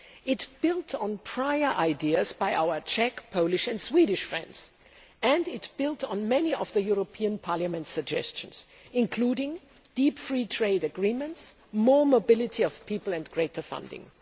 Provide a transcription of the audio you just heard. It built on prior ideas by our Czech, Polish and Swedish friends, and it built on many of the European Parliament's suggestions, including deep free trade agreements, more mobility of people and greater funding.